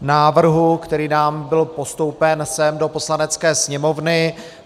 návrhu, který nám byl postoupen sem do Poslanecké sněmovny.